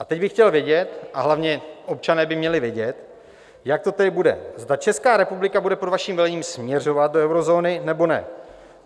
A teď bych chtěl vědět - a hlavně občané by měli vědět - jak to tedy bude, zda Česká republika bude pod vaším vedením směřovat do eurozóny, nebo ne.